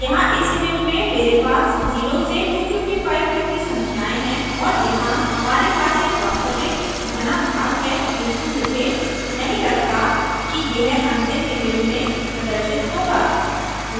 यहाँ इस image में मेरे पास 0 से 255 तक की संख्याएं हैं और यहाँ हमारे पास एक वास्तविक घना भाग है किन्तु मुझे नहीं लगता कि यह अंतिम image में प्रदर्शित होगा